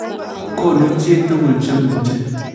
Konu chi tukul che muche